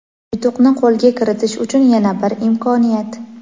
Yutuqni qo‘lga kiritish uchun yana bir imkoniyat!.